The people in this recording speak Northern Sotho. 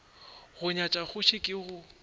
go nyatša kgoši ke go